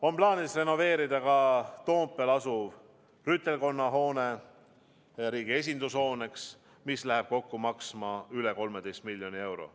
On plaanis renoveerida ka Toompeal asuv Rüütelkonna hoone riigi esindushooneks, mis läheb kokku maksma üle 13 miljoni euro.